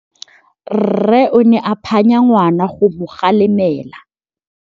Rre o ne a phanya ngwana go mo galemela.